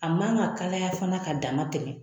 A man ka kalaya fana ka dama tɛmɛ.